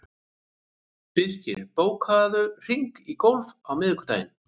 Birkir, bókaðu hring í golf á miðvikudaginn.